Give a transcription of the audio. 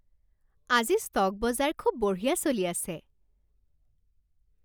আজি ষ্টক বজাৰ খুব বঢ়িয়া চলি আছে